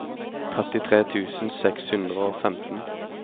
trettitre tusen seks hundre og femten